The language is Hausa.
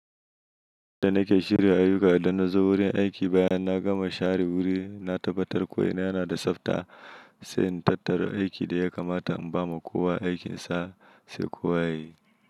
Da nake shirya ayuka idan na zo wurin aiki bayan, na gama share wuri, na tabbatar ko ina yana da tsafta, sai na tattara aikin da ya kamata in ba ma kowa aikin sa sai kowa yayi.